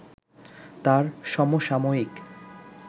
তার সমসাময়িক